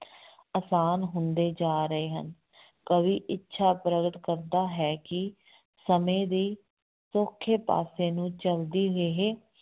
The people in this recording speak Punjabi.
ਆਸਾਨ ਹੁੰਦੇ ਜਾ ਰਹੇ ਹਨ, ਕਵੀ ਇੱਛਾ ਪ੍ਰਗਟ ਕਰਦਾ ਹੈ ਕਿ ਸਮੇਂ ਦੀ ਸੌਖੇ ਪਾਸੇ ਨੂੰ ਚੱਲਦੀ ਇਹ